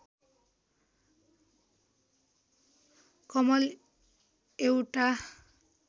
कमल एउटा